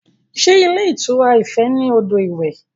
Sé ilé ìtura Ife ní odò iwẹ̀?